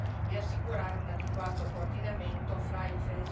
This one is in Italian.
e la più ampia politica di coesione e regionale.